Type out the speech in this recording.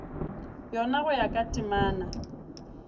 yona go ya ka temana